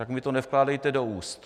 Tak mi to nevkládejte do úst.